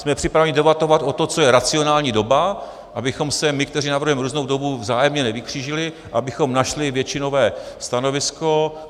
Jsme připraveni debatovat o tom, co je racionální doba, abychom se my, kteří navrhujeme různou dobu, vzájemně nevykřížili, abychom našli většinové stanovisko.